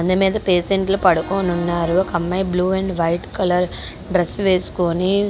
బండి మీద పేసెంట్లు పడుకొని ఉన్నారు.ఒక అమ్మాయి blue and white colour dress వేసుకొని--